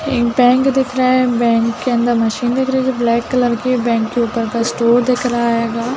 एक बैंक दिख रहा है बैंक के अंदर मशीन दिख रही है ब्लैक कलर की बैंक के ऊपर का स्टोर दिख रहा हैगा--